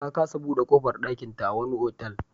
Ta kasa buɗe ƙofar ɗakinta a wani otal.